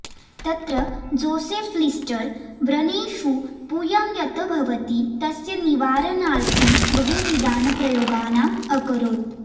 तत्र Joseph Lister व्रणेषु पूयं यत् भवति तस्य निवारणार्थं बहुविधान् प्रयोगान् अकरोत्